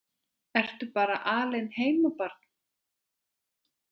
Ertu bara alein heima barn?